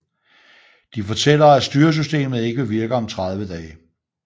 De fortæller at styresystemet ikke vil virke om 30 dage